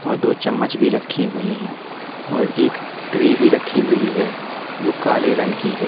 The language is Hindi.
और दो चम्मच भी रखी हुई थी और एक ट्रे भी रखी हुई हैं जो काले रंग की हैं।